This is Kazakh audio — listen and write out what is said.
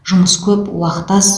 жұмыс көп уақыт аз